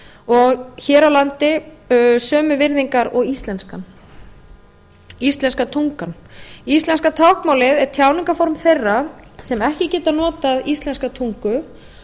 og hér á landi sömu virðingar og íslenska tungan íslenska táknmálið er tjáningarform þeirra sem ekki geta notað íslenska tungu